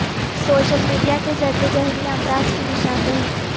social media کے ذریعے ذہنی امراض کی نشان دہی